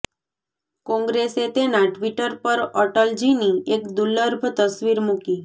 કોંગ્રેસે તેના ટ્વિટર પર અટલજીની એક દુર્લભ તસવીર મૂકી